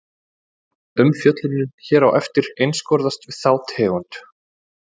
Umfjöllunin hér á eftir einskorðast við þá tegund.